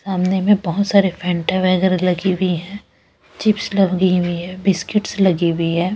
सामने में बहुत सारे फैंटा वगैरह लगी हुई हैं चिप्स लगी हुई हैं बिस्किट्स लगी हुई है।